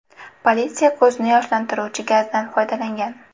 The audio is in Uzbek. Politsiya ko‘zni yoshlantiruvchi gazdan foydalangan.